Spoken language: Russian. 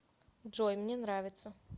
джой мне нравится